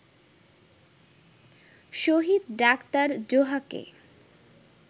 শহীদ ডা. জোহাকে